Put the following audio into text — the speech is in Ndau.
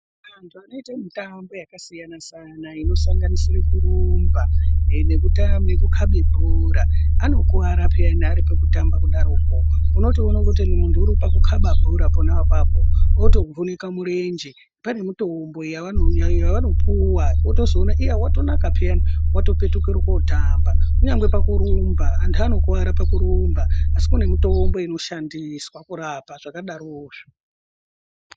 Vantu anoite mitambo yakasiyana siyana inosanganisire kurumba nekukabe bhora anokuwara pheyani ari pakutamba kudaroko. Unotoono kuti muntu uri pakukaba bhora pona apapo, otovhunika murenje. Pane mitombo yawanopuwa. Wotozoona iya watonaka pheyani, watopetuka kotamba. Kunyangwe pakurumba, anhu anokuwara pakurumba, asi kune mitombo inoshandiswa pakurapa zvakadarozvo.